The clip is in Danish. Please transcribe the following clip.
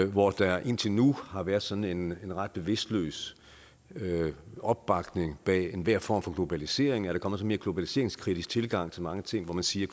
hvor der indtil nu har været sådan en ret bevidstløs opbakning bag enhver form for globalisering er der kommet en sådan mere globaliseringskritisk tilgang til mange ting hvor man siger